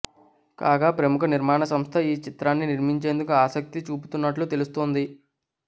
కాగా ప్రముఖ నిర్మాణ సంస్థ ఏ చిత్రాన్ని నిర్మించేందుకు ఆసక్తి చూపుతున్నట్లు తెలుస్తోంది